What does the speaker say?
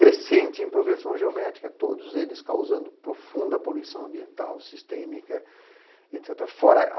crescente em progressão geométrica, todos eles causando profunda poluição ambiental, sistêmica, etc.